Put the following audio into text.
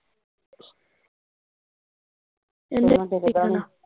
ਇਹਤੋਂ ਨੀ ਟਿਕ ਹੁਣਾ